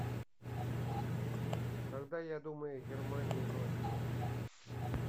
когда я думаю о германии ночью